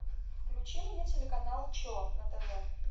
включи мне телеканал че на тв